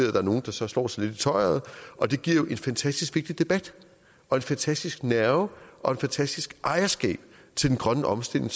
er nogle der så slår sig lidt i tøjret og det giver en fantastisk vigtig debat og en fantastisk nerve og et fantastiske ejerskab til den grønne omstilling